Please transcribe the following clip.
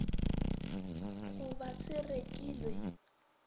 go ba se rekilw e